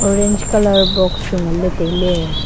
orange colour box chu nganle taile.